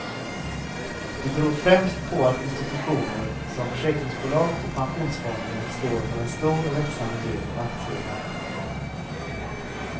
Det beror främst på att institutioner som försäkringsbolag och pensionsfonder står för en stor och växande del av aktieägandet.